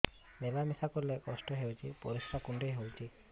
ମିଳା ମିଶା କଲେ କଷ୍ଟ ହେଉଚି ପରିସ୍ରା କୁଣ୍ଡେଇ ହଉଚି